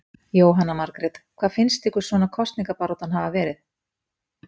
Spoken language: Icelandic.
Jóhanna Margrét: Hvernig finnst ykkur svona kosningabaráttan hafa verið?